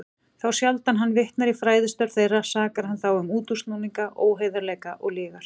Þá sjaldan hann vitnar í fræðistörf þeirra, sakar hann þá um útúrsnúninga, óheiðarleika og lygar.